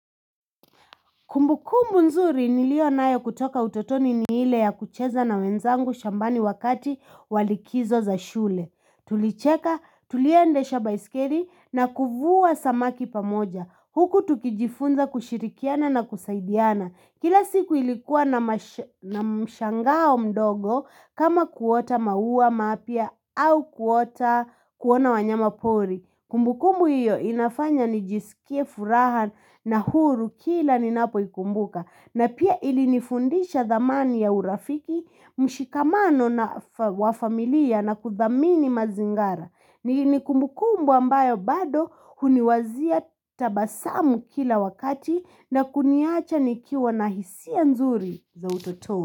Kumbukumbu nzuri nilionayo kutoka utotoni ni ile ya kucheza na wenzangu shambani wakati wa likizo za shule. Tulicheka tuliendesha baiskeli na kuvua samaki pamoja. Huku tukijifunza kushirikiana na kusaidiana. Kila siku ilikuwa na mshangao mdogo kama kuota maua mapya au kuona wanyama pori. Kumbukumbu hiyo inafanya nijisikie furaha na huru kila ninapoikumbuka na pia ilinifundisha thamani ya urafiki, mshikamano wa familia na kudhamini mazingara. Ni kumbukumbu ambayo bado uniwazia tabasamu kila wakati na kuniacha nikiwa na hisia nzuri za utoto.